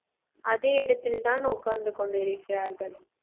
அதே இடத்தில் தான் உட்கார்ந்து கொண்டிருக்கிறார்கள்